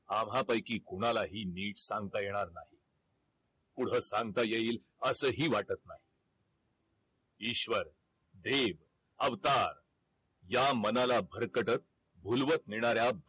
आम्हापैकी कुणालाही निट सांगता येणार नाही पुढ सांगता येईल असही वाटत नाही ईश्वर, देव अवतार या मनाला भरकटत झुलवत नेणाऱ्या